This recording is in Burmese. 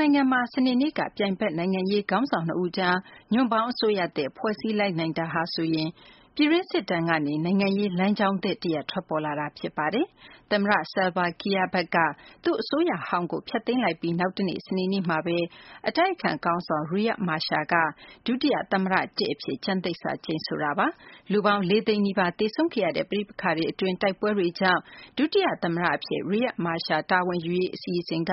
နိုင်ငံမှာ စနေနေ့က ပြိုင်ဘက် နိုင်ငံရေးခေါင်းဆောင် ၂ ဦးကြား ညွန့်ပေါင်းအစိုးရသစ် ဖွဲ့စည်းလိုက်နိုင်တာဟာဆိုရင် ပြည်တွင်းစစ်ဒဏ်ကနေ နိုင်ငံရေးလမ်းကြောင်းသစ်တရပ် ထွက်ပေါ်လာတာ ဖြစ်ပါတယ်။ သမ္မတ Salva Kiir ဘက်က သူ့အစိုးရဟောင်းကို ဖျက်သိမ်းလိုက်ပြီး နောက်တနေ့ စနေနေ့မှာပဲ အတိုက်အခံခေါင်းဆောင် Riek Machar က ဒုတိယသမ္မတ ၁ အဖြစ် ကျမ်းသစ္စာ ကျိန်ဆိုခဲ့တာပါ။ လူပေါင်း ၄၀၀,၀၀၀ နီးပါး သေဆုံးခဲ့ရတဲ့ ပဋိပက္ခတွေအတွင်း တိုက်ပွဲတွေကြောင့် ဒုတိယသမ္မတအဖြစ် Riek Machar တာဝန်ယူရေး အစီအစဉ်က